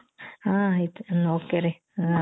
ಹ ಆಯಿತು okay ರೀ